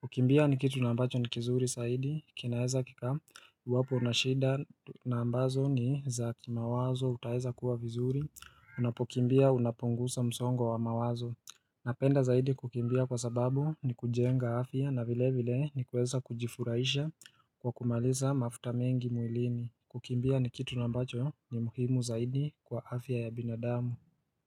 kukimbia ni kitu na ambacho ni kizuri saidi kinaeza kika iwapo unashida na ambazo ni zakimawazo utaweza kuwa vizuri unapokimbia unapungusa msongo wa mawazo Napenda zaidi kukimbia kwa sababu ni kujenga afya na vile vile ni kuweza kujifurahisha kwa kumaliza mafuta mengi mwilini kukimbia ni kitu na ambacho ni muhimu zaidi kwa afya ya binadamu.